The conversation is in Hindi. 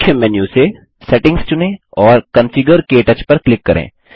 मुख्य मेन्यू से सेटिंग्स चुनें और कॉन्फिगर क्टच पर क्लिक करें